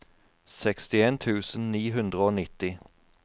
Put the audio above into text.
sekstien tusen ni hundre og nitti